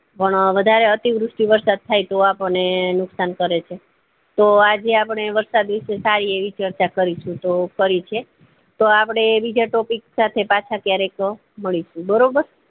પણ વધારે અતિ વૃતિ વરસાદ થાય તો આપણને નુકશાન થાય છે તો આજે આપડે વરસાદ વિષે સારી એવી ચર્ચા કરી છે તો આપડે બીજા topic સાથે પાછા ક્યારેક મળીશું બરોબર